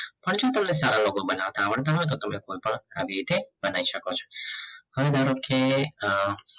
હજુ તમને સારા logo બનાવતા આવડતા હોય તો પણ તમે લોકો એવી રીતે બનાઈ સકો છો હવે ધરોકે અ